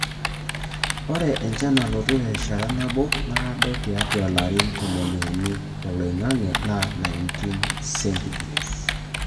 Ore enchan nalotu terishata nabo naado tiatua ilarin tomoniuni oloing'ang'e naa 19°C.